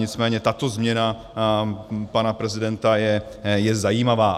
Nicméně tato změna pana prezidenta je zajímavá.